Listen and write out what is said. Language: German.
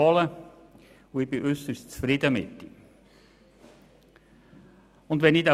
Und ich bin äusserst zufrieden mit ihm.